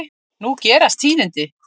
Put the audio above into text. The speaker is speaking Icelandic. Nú gerast tíðindi.